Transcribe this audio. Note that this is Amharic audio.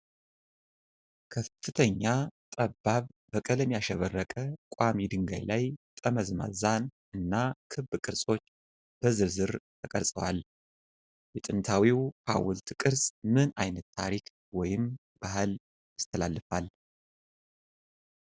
ከፍተኛና ጠባብ፣ በቀለም ያሸበረቀ ቋሚ ድንጋይ ላይ ጠመዝማዛ እና ክብ ቅርጾች በዝርዝር ተቀርፀዋል። የጥንታዊው ሐውልት ቅርጽ ምን ዓይነት ታሪክ ወይም ባህል ያስተላልፋል?